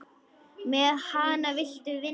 Með hana viltu vinna.